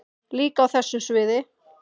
Líka á þessu sviði.